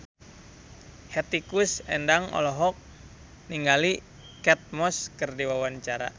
Hetty Koes Endang olohok ningali Kate Moss keur diwawancara